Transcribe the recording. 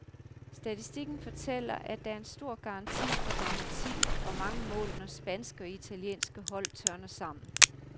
Statistikken fortæller, at der er stor garanti for dramatik og mange mål, når spanske og italienske hold tørner sammen.